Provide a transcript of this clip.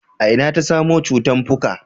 a ina ta samo cutan fuka?